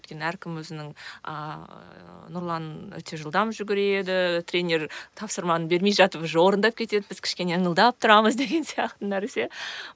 өйткені әркім өзінің ыыы нұрлан өте жылдам жүгіреді тренер тапсырманы бермей жатып уже орындап кетеді біз кішкене ыңылдап тұрамыз деген сияқты нәрсе